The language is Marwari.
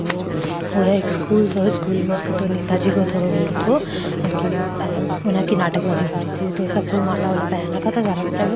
उर एक स्कूल था नाटक बजी हो रही थी तो सब कोई माला वाला पहन रखा था ऊंचा --